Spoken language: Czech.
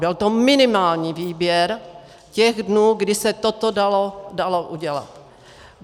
Byl to minimální výběr těch dnů, kdy se toto dalo udělat.